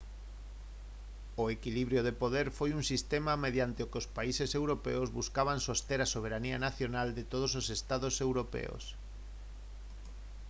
o equilibrio de poder foi un sistema mediante o que os países europeos buscaban soster a soberanía nacional de todos os estados europeos